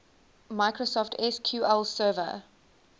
microsoft sql server